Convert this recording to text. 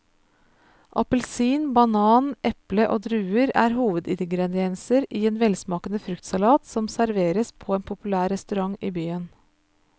Appelsin, banan, eple og druer er hovedingredienser i en velsmakende fruktsalat som serveres på en populær restaurant i byen.